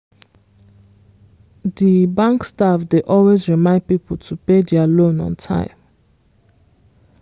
di bank staff dey always remind people to pay dia loans on time.